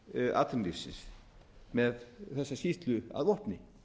atvinnulífsins með þessa skýrslu að vopni